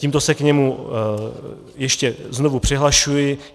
Tímto se k němu ještě znovu přihlašuji.